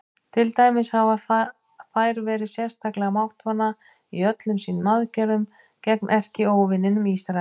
Til dæmis hafa þær verið sérstaklega máttvana í öllum sínum aðgerðum gegn erkióvininum Ísrael.